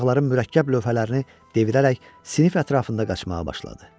Uşaqların mürəkkəb lövhələrini devirərək sinif ətrafında qaçmağa başladı.